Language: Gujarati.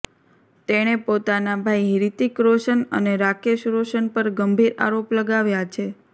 તેણે પોતાના ભાઈ હ્રિતિક રોશન અને રાકેશ રોશન પર ગંભીર આરોપ લગાવ્યા છે